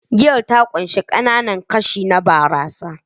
Giyar ta ƙunshi ƙananan kashi na barasa